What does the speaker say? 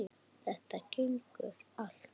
Þetta gengur allt upp.